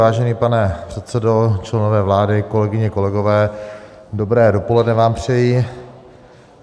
Vážený pane předsedo, členové vlády, kolegyně, kolegové, dobré dopoledne vám přeji.